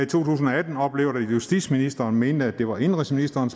tusind og atten oplevet at justitsministeren mente at det var indenrigsministeren